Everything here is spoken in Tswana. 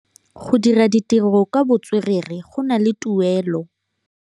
Go dira ditirô ka botswerere go na le tuelô.